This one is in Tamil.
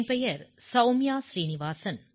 என் பெயர் சௌம்யா ஸ்ரீ நிவாஸன்